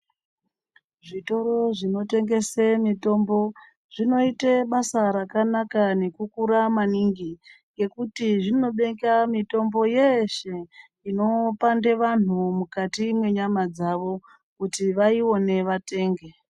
Zvitoro zvinotengese mitombo zvinoita basa rakanaka nekukura maningi. Ngekuti zvinobeka mitombo yeshe inopanda vantu mukati mwenyama dzavo kuti vaione vatenge.